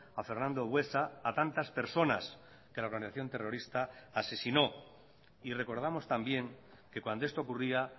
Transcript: a fernando buesa a tantas personas que la organización terrorista asesinó y recordamos también que cuando esto ocurría